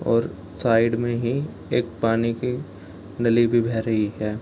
और साइड में ही एक पानी की नली भी बह रही है।